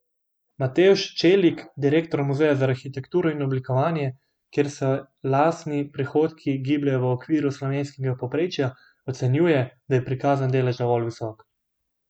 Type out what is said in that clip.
Matevž Čelik, direktor Muzeja za arhitekturo in oblikovanje, kjer se lastni prihodki gibljejo v okvirih slovenskega povprečja, ocenjuje, da je prikazani delež dovolj visok.